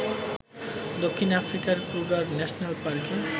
দক্ষিণ আফ্রিকার Kruger national পার্কে